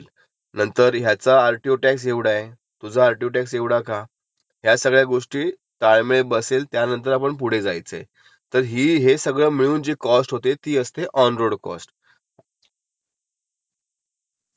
बरं बरं असं असंत ऑन रोड, ऑफ रोड. आणि आपण जस गाडीची डिलिव्हरी घ्यायला जातो तेव्हा गाडी सगळी चेक करायची ना, कुठे गाडीला डेंट तर नाही ना.